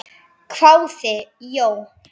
hváði Jón.